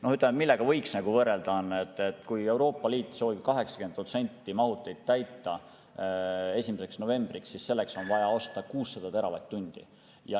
Noh, millega võiks nagu võrrelda, on see, et kui Euroopa Liit soovib 80% ulatuses mahutid täita 1. novembriks, siis selleks on vaja osta 600 teravatt-tundi.